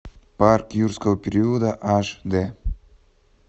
парк юрского периода аш д